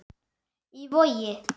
Í Vogi.